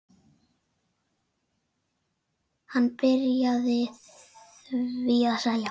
Hann byrjaði því að selja.